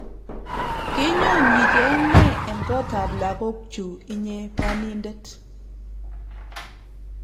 kenyo nyicheng ne eng kotap lakokchu inye panindet